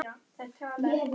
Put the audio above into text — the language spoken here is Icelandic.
Hér eru lóðir ekki seldar.